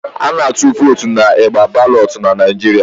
A na-atụ votu n'igba balotu n'Naijiria